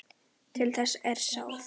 Til þess er sáð.